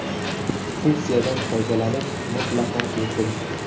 Funksiyadan foydalanish mutlaqo bepul.